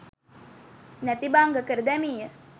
නැති භංග කර දැමීය.